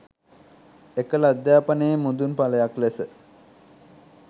එකල අධ්‍යාපනයේ මුදුන් ඵලයක් ලෙස